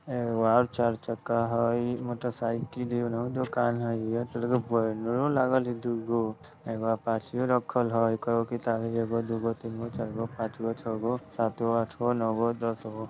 एगो ओर चार चक्का हई मोटर साईकिल योनो दुकान हई एयरटेल के बैनरो लागल हई दुगो एगो अपाचे राखल हई कईगो किताब हई दुगो तीनगो चारगो पाँचगो छगो सातगो आठगो नोगो दसगो।